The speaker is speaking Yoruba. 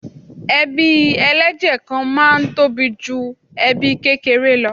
Ebí ẹlẹ́jẹ̀ kan náà máa ń tóbi ju ẹbí kékeré lọ.